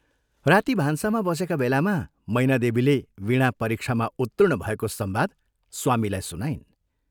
राती भान्सामा बसेका बेलामा मैनादेवीले वीणा परीक्षामा उत्तीर्ण भएको संवाद स्वामीलाई सुनाइन्।